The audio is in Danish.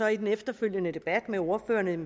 i den efterfølgende debat med ordførerne